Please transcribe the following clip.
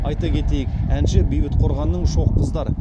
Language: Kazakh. айта кетейік әнші бейбіт қорғанның шоқ қыздар